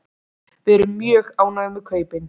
Við erum mjög ánægð með kaupin.